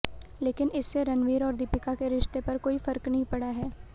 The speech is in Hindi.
लेकिन इससे रणवीर और दीपिका के रिश्ते पर कोई फर्क नहीं पड़ा है